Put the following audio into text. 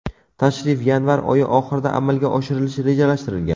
Tashrif yanvar oyi oxirida amalga oshirilishi rejalashtirilgan.